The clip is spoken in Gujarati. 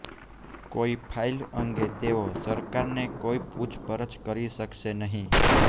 કોઈ ફાઇલ અંગે તેઓ સરકારને કોઈ પૂછપરછ કરી શકશે નહીં